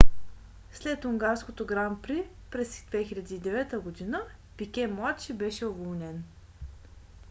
след унгарското гран при през 2009 г. пике младши беше уволнен